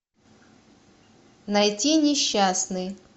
найти несчастный